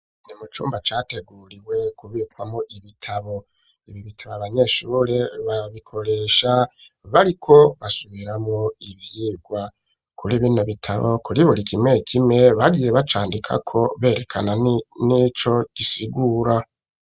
Mu cyumba cyateguriwe kubikwamo ibitabo ibi bitabo abanyeshuri babikoresha bariko basubira mo ibyigwa kuri bino bitabo kuri buri kimwe ikimwe bagiye bacandika ko berekana n'icyo gisigura.